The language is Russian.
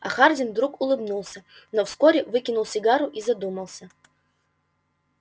а хардин вдруг улыбнулся но вскоре выкинул сигару и задумался